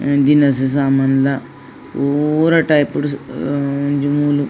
ಹ್ಮಾ ದಿನಸಿ ಸಾಮಾನ್ಲ ಪೂರ ಟೈಪ್ ಡು ಸಿ ಹ್ಮ್ ಒಂಜಿ ಮೂಲು.